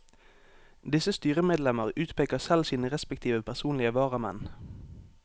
Disse styremedlemmer utpeker selv sine respektive personlige varamenn.